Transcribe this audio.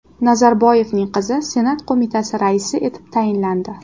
Nazarboyevning qizi senat qo‘mitasi raisi etib tayinlandi.